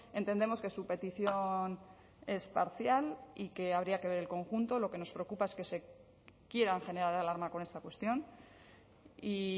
entendemos que su petición es parcial y que habría que ver el conjunto lo que nos preocupa es que quieran generar alarma con esta cuestión y